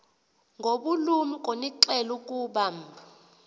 ngobulumko niqhel ukubamb